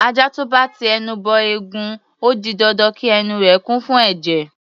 Ajá tó bá ti ẹnu bọ ẹ̀gún, ó di dandan kí ẹnu rẹ̀ kún fún ẹ̀jẹ̀.